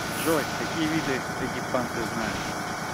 джой какие виды эгипан ты знаешь